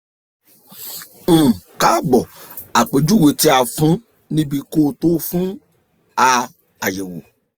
um kaabo apejuwe ti a fun nibi ko to fun a ayẹwo